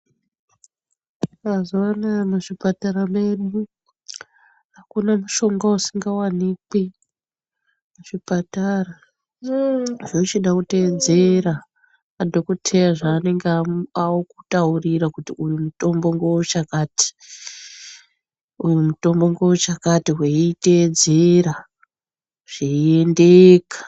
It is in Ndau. Mazuva anaya muzvipatara medu hakuna mushonga usingavanikwi muzvipatara, uuu zvochida kutedzera madhokoteya zvaanenge akutaurira kuti mitombo ngeve chakati, uyu mutombo ngeve chakati veitedzera zveiendeka